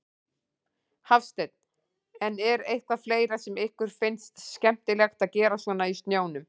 Hafsteinn: En er eitthvað fleira sem ykkur finnst skemmtilegt að gera svona í snjónum?